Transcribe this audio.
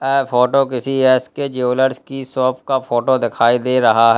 यह फोटो किसी S K jewellers की शॉप का फोटो देखाई दे रहा है।